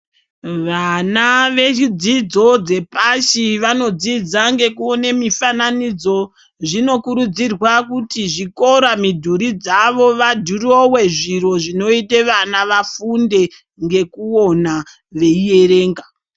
Vana vechidzidzo dzepashi vanodzidza ngekuwone mifananidzo. Zvinokurudzirwa kuti zvikora, midhuri dzavo vadirowe zviro zvinoyite vana vafunde ngekuwona veyiyerenga.